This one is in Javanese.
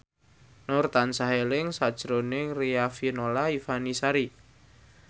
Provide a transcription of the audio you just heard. Nur tansah eling sakjroning Riafinola Ifani Sari